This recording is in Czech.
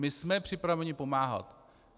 My jsme připraveni pomáhat.